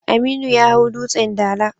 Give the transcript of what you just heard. Aminu ya hau Dutsen Dala.